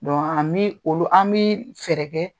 an bi olu , an bi fɛɛrɛ kɛ